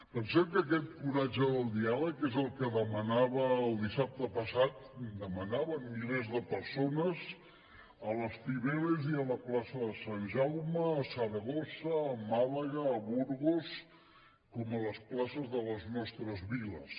pensem que aquest coratge del diàleg és el que demanava el dissabte passat demanaven milers de persones a la cibeles i a la plaça de sant jaume a saragossa a màlaga a burgos com a les places de les nostres viles